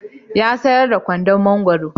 Ya sayar da kwandon mangwaro.